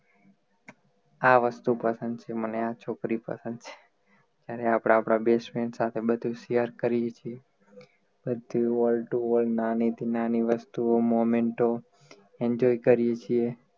આ વસ્તુ પસંદ છે મને આ છોકરી પસંદ છે જ્યારે આપણે આપણા best friend સાથે બધુ share કરીએ છીએ નાની થી નાની વસ્તુઓ memento enjoy કરી છીએ